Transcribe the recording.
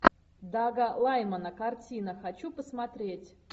дага лаймана картина хочу посмотреть